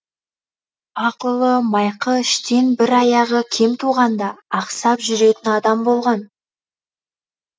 ақ ұлы майқы іштен бір аяғы кем туғанда ақсап жүретін адам болған